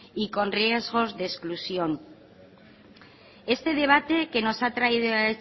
y con riesgos de exclusión este debate que nos ha traído